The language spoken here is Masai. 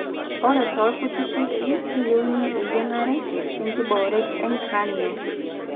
ore toorkuti kesii keyieuni eyiang'are tenkibooret encranial